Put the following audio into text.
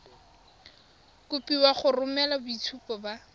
kopiwa go romela boitshupo ba